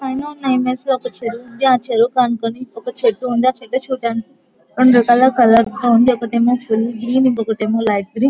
పైన ఉన్న ఇమేజ్ లో ఒక చెరువు ఉంది. ఆ చెరువు కి ఆనుకొని ఒక చెట్టు ఉంది ఆ చెట్టు చూడటానికి రెండు కబుర్లో ఉంది ఒక్కటి ఎమ్మో గ్రీన్ --